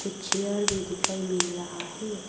Chair भी दिखाई मिल रहा है।